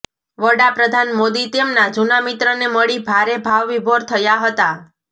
વડાપ્રધાન મોદી તેમના જુના મિત્રને મળી ભારે ભાવ વિભોર થયા હતા